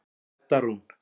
Edda Rún.